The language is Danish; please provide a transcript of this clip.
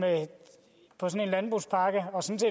landbrugspakke